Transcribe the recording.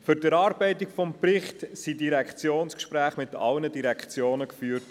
Für die Erarbeitung des Berichts wurden Direktionsgespräche mit allen Direktionen geführt.